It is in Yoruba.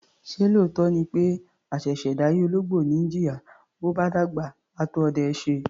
Ṣé lóòótọ́ ni pé àṣẹ̀ṣẹ̀ dáyé ológbò ni í jìyà, bó bá dàgbà, á tó ọdẹ ẹ́ ṣe?